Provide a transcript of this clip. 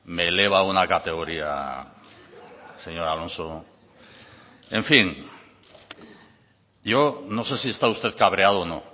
me eleva a una categoría señor alonso en fin yo no sé si está usted cabreado o no